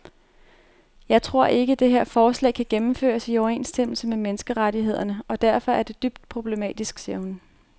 Jeg tror ikke, det her forslag kan gennemføres i overensstemmelse med menneskerettighederne og derfor er det dybt problematisk, siger hun.